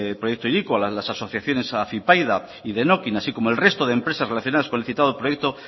proyecto hiriko a las asociaciones afypaida y denokinn así como el resto de empresas relacionadas con el citado proyecto